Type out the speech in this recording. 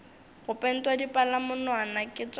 go pentwa dipalamonwana ke tša